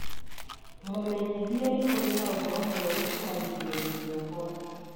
mũmenyithie atĩ nĩ kũrĩ na ũhoro mwerũ kuuma gĩcigo-inĩ gĩakwa